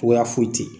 Cogoya foyi tɛ